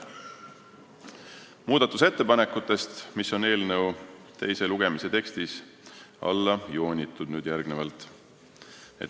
Järgnevalt muudatusettepanekutest, mis on eelnõu teise lugemise tekstis alla joonitud.